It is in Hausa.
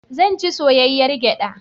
Zan ci soyayyar gyaɗa.